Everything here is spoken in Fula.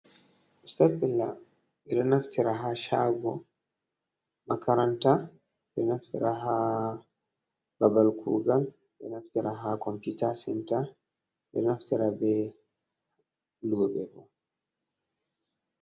Stafbiller bedo naftira ha shago, makaranta bedo naftira ha babal kugal do naftira ha computa sentar edo naftira be lube bo.